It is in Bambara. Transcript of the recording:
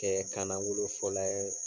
Tɛ kana wolo fɔ la ye